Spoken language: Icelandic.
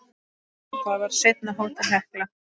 Það var seinna Hótel Hekla.